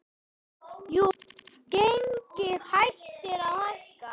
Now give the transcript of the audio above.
Jú, gengið hættir að hækka.